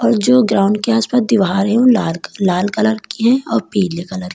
जो ग्राउंड के आस पास दीवार है ओ लाल लाल कलर की है और पीले कलर की--